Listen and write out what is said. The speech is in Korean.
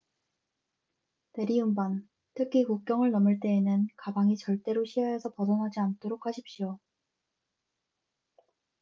대리운반 특히 국경을 넘을 때에는 가방이 절대로 시야에서 벗어나지 않도록 하십시오